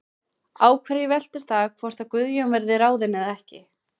Á hverju veltur það hvort að Guðjón verði ráðinn eða ekki?